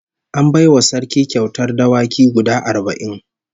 An bai wa Sarki kyautar dawaki guda arba'in